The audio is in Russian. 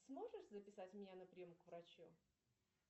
сможешь записать меня на прием к врачу